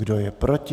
Kdo je proti?